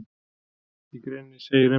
Í greininni segir enn fremur: